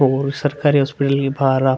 ओर सरकारी हॉस्पिटल के बहार आप --